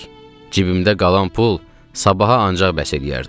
Cibimdə qalan pul sabaha ancaq bəs eləyərdi.